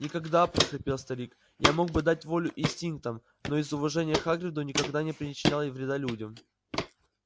никогда прохрипел старик я мог бы дать волю инстинктам но из уважения к хагриду никогда не причинял вреда людям